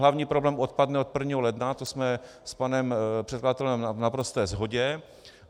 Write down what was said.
Hlavní problém odpadne od 1. ledna, to jsme s panem předkladatelem v naprosté shodě.